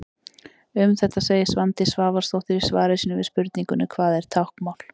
Um þetta segir Svandís Svavarsdóttir í svari sínu við spurningunni: Hvað er táknmál?